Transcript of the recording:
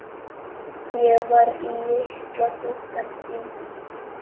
Ég var litla dúkkan þín.